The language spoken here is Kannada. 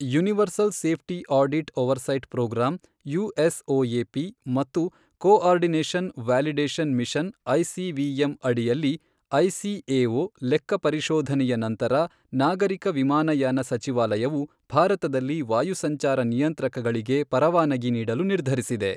Universal safety audit oversight programme USOAP ಮತ್ತು ಕೋಆರ್ಡಿನೇಷನ್ ವ್ಯಾಲಿಡೇಷನ್ ಮಿಷನ್ ಐಸಿವಿಎಂ ಅಡಿಯಲ್ಲಿ ಐಸಿಎಒ ಲೆಕ್ಕಪರಿಶೋಧನೆಯ ನಂತರ ನಾಗರಿಕ ವಿಮಾನಯಾನ ಸಚಿವಾಲಯವು ಭಾರತದಲ್ಲಿ ವಾಯು ಸಂಚಾರ ನಿಯಂತ್ರಕಗಳಿಗೆ ಪರವಾನಗಿ ನೀಡಲು ನಿರ್ಧರಿಸಿದೆ.